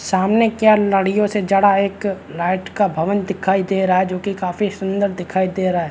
सामने क्या लड़ियो से जड़ा एक लाइट का भवन दिखाई दे रहा हैं जो काफी सुन्दर दिखाई दे रहा हैं।